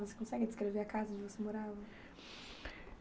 Você consegue descrever a casa onde você morava?